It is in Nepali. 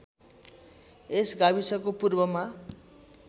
यस गाविसको पूर्वमा